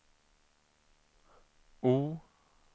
O